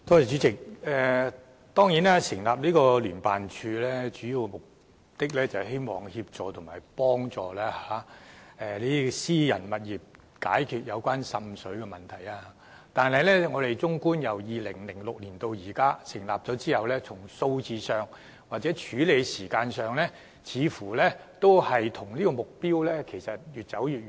主席，成立聯辦處的主要目的，是協助私人物業解決滲水問題，但自從聯辦處在2006年成立至今，就個案數字或處理時間而言，似乎距離目標越來越遠。